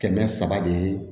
Kɛmɛ saba de